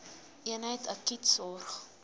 eenheid akute sorg